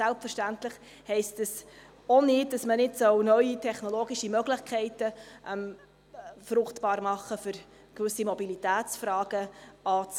Selbstverständlich heisst das auch nicht, dass man nicht neue technologische Möglichkeiten fruchtbar machen soll, um gewisse Mobilitätsfragen anzugehen.